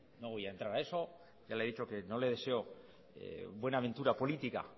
no voy a entrar a eso ya le he dicho que no le deseo buena aventura política